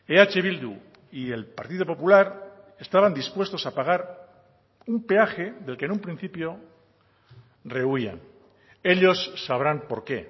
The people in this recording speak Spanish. eh bildu y el partido popular estaban dispuestos a pagar un peaje del que en un principio rehúyan ellos sabrán por qué